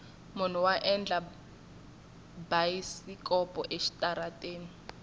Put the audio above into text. munhu wa endla bayisikopo exitarateni